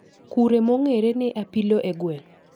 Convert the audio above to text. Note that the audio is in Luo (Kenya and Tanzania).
Kure mong'ere ne apilo e gweng